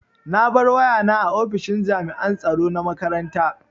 Na bar wayana a ofishin jami'an tsaro na makaranta.